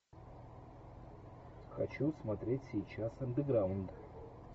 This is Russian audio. хочу смотреть сейчас андеграунд